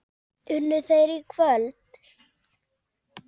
Unnu þeir í kvöld?